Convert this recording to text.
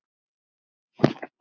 Hvað heita þær?